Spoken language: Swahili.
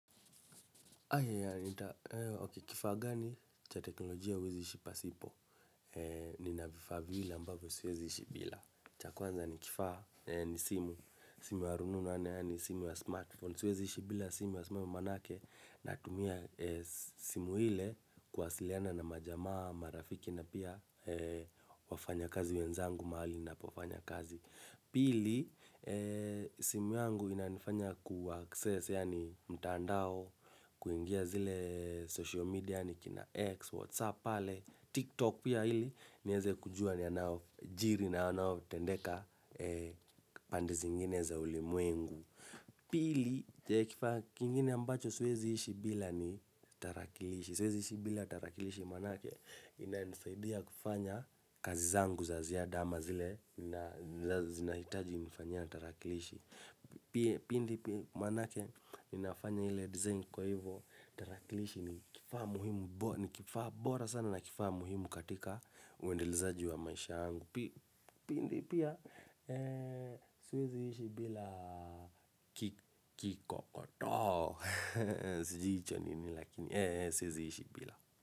Aya ya, kifaa gani cha teknolojia uwezi ishi pa sipo. Nina vifaa vile ambavyo siwezi ishibila. Chakwanza ni kifaa ni simu. Simu ya rununu, yaani simu ya smartphone. Siwezi ishibila, simu ya smartphone manake natumia simu hile kuwasiliana na majamaa, marafiki na pia wafanya kazi wenzangu mahali na pofanya kazi. Pili, simu yangu inanifanya ku access yaani mtandao kuingia zile social media yaani kina X, Whatsapp pale, TikTok pia hili. Nieze kujua ni yanayo jiri na yanayo tendeka pande zingine za ulimwengu. Pili, kifaa kingine ambacho siwezi ishi bila ni tarakilishi. Siwezi ishi bila tarakilishi manake ina nisaidia kufanya kazi zangu za ziada ama zile na zinahitaji nifanyie tarakilishi. Pia pindi pia manake ninafanya hile design kwa hivo tarakilishi ni kifaa muhimu. Ni kifaa bora sana na kifaa muhimu katika uendelezaji wa maisha yangu pindi pia siwezi ishi bila Kikokotoo. Sijui hicho nini lakini siwezi ishi bila.